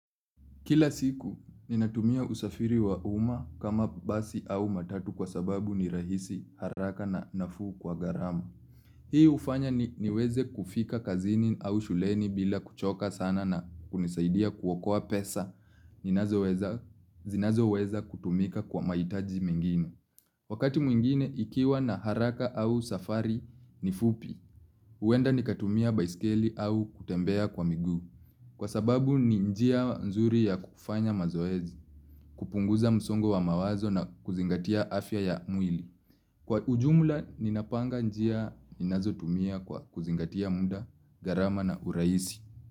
Kila siku, ninatumia usafiri wa umma kama basi au matatu kwa sababu ni rahisi haraka na nafuu kwa gharama. Hii hufanya niweze kufika kazini au shuleni bila kuchoka sana na hunisaidia kuokoa pesa, zinazoweza kutumika kwa mahitaji mengine. Wakati mwingine, ikiwa na haraka au safari ni fupi, huenda nikatumia baiskeli au kutembea kwa migu. Kwa sababu ni njia nzuri ya kufanya mazoezi, kupunguza msongo wa mawazo na kuzingatia afya ya mwili. Kwa ujumula, ninapanga njia ninazotumia kwa kuzingatia muda, gharama na urahisi.